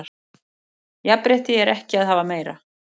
Jafnrétti er ekki að hafa meira